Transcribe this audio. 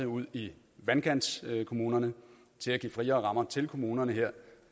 ud i vandkantskommunerne at give friere rammer til kommunerne her